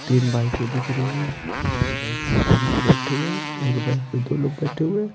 तीन बाइकें दिख रही हैं बैठे हुए एक बाइक पे दो लोग बैठे हुए।